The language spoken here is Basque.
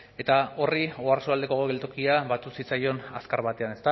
eta horri oarsoaldeko geltokia batu zitzaion azkar batean